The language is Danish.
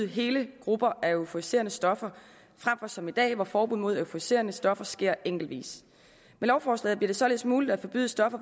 hele grupper af euforiserende stoffer frem for som i dag hvor forbuddet mod euforiserende stoffer sker enkeltvis med lovforslaget bliver det således muligt at forbyde stoffer